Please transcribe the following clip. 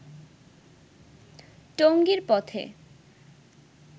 টঙ্গীর পথে